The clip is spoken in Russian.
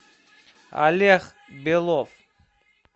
олег белов